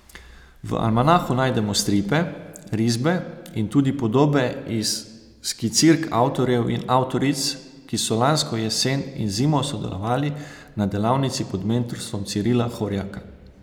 V almanahu najdemo stripe, risbe in tudi podobe iz skicirk avtorjev in avtoric, ki so lansko jesen in zimo sodelovali na delavnici pod mentorstvom Cirila Horjaka.